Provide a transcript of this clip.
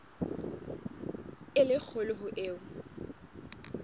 e le kgolo ho eo